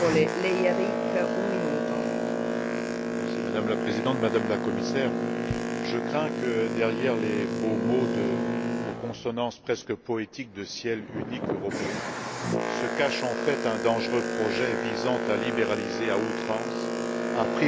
Madame la Présidente, Madame la Commissaire, je crains que, derrière les beaux mots aux consonances presque poétiques de ciel unique européen, se cache en fait un dangereux projet visant à libéraliser à outrance et à privatiser les services de surveillance du transport aérien.